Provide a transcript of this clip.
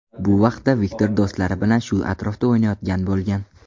Bu vaqtda Viktor do‘stlari bilan shu atrofda o‘ynayotgan bo‘lgan.